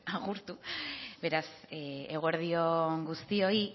agurtu beraz eguerdi on guztioi